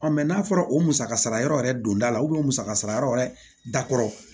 n'a fɔra o musaka sara yɔrɔ yɛrɛ don da la u musaka sara yɔrɔ wɛrɛ dakɔrɔ